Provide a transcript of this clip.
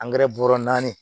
bɔrɔ naani